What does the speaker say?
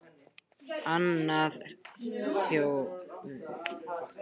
Annað hólfið er stærra og í því er hvítt tannkrem.